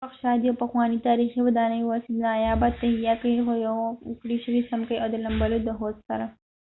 جوړښت شاید یو پخوانی تاریخی ودانۍ واوسی نایابه تهیه کړي د ښويه کړي شوي څمکې او د لمبلو د حوض سره